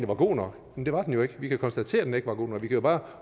var god nok men det var den jo ikke vi kan konstatere at den ikke var god nok vi kan bare